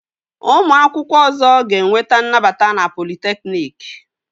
Ụmụ akwụkwọ ọzọ ga-enweta nnabata na politekniki